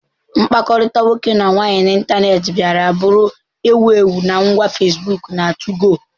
mkpakọrịta nwoke na nwaanyị n'ịntanetị bịara bụrụ ewu ewu na ngwa Facebook na 2go